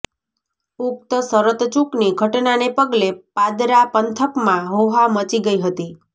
ઉક્ત શરતચૂકની ઘટનાને પગલે પાદરા પંથકમાં હોહા મચી ગઇ હતી